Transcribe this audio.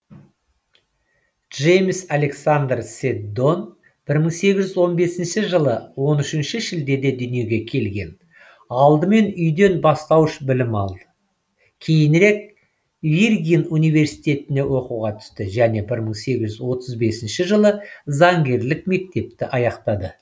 джеймс александр седдон бір мың сегіз жүз он бесінші жылы он үшінші шілдеде дүниеге келген алдымен үйден бастауыш білім алды кейінірек виргин университетіне оқуға түсті және бір мың сегіз жүз отыз бесінші жылы заңгерлік мектепті аяқтады